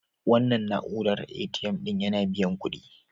Wannan na'uran ATM ɗin yana biyan kuɗi.